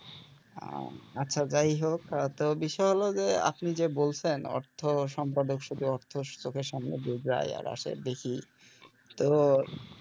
আহ আচ্ছা যাই হোক তো বিষয় হলো যে আপনি যে বলছেন অর্থ সম্পাদক শুধু অর্থ চোখের সামনে দিয়ে যায় আর আসে দেখি তো,